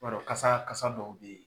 I b'a dɔn kasa kasa dɔw bɛ ye.